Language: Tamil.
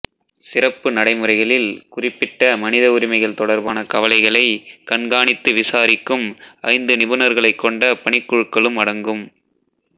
சிறப்பு நடைமுறைகளில் குறிப்பிட்ட மனித உரிமைகள் தொடர்பான கவலைகளை கண்காணித்து விசாரிக்கும் ஐந்து நிபுணர்களைக் கொண்ட பணிக்குழுக்களும் அடங்கும்